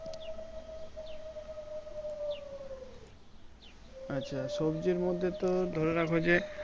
আচ্ছা সবজির মধ্যে তো ধরে রাখো যে,